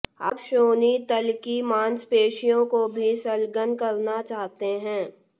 आप श्रोणि तल की मांसपेशियों को भी संलग्न करना चाहते हैं